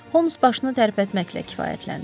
Holmes başını tərpətməklə kifayətləndi.